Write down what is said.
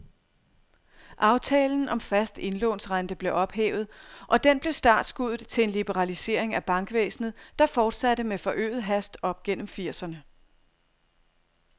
Aftalen om fast indlånsrente blev ophævet, og den blev startskuddet til en liberalisering af bankvæsenet, der fortsatte med forøget hast op gennem firserne.